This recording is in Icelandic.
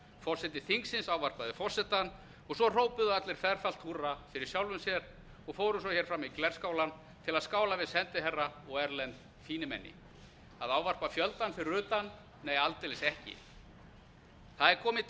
forseti þingsins ávarpaði forsetann og svo hrópuðu allir ferfalt húrra fyrir sjálfum sér og fóru hér fram í glerskálann til að skála við sendiherra og erlend fínimenni að ávarpa fjöldann fyrir utan nei aldeilis ekki það er kominn